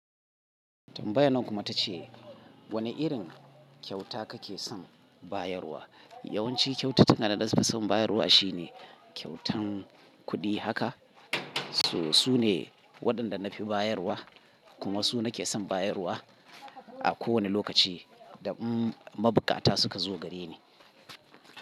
Tambayan nan kuma ta ce wane irin kyauta ka ke son bayarwa? Yawanci kyautata na da na fi son bayarwa shine kyautan kuɗi haka. Su, su ne waɗanda na fi bayarwa kuma su nake son bayarwa a kowane lokaci da umm mabukata suka zo gare ni.